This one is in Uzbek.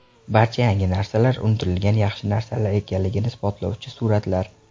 Barcha yangi narsalar unutilgan yaxshi narsalar ekanligini isbotlovchi suratlar .